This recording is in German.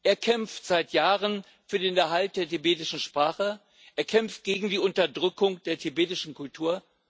Er kämpft seit Jahren für den Erhalt der tibetischen Sprache und gegen die Unterdrückung der tibetischen Kultur.